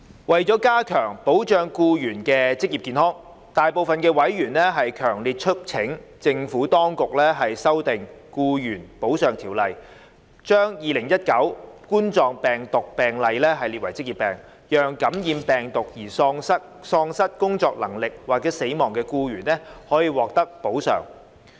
為加強保障僱員的職業健康，大部分委員強烈促請政府當局修訂《僱員補償條例》，把2019冠狀病毒病列為職業病，讓感染病毒而喪失工作能力或死亡的僱員可獲得補償。